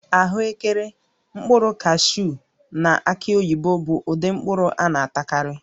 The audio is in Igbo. Ahụekere, mkpụrụ kashuu na aki oyibo bụ ụdị mkpụrụ a na-atakarị